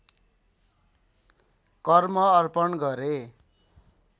कर्म अर्पण गरे